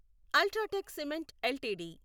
UltraTech cement LTD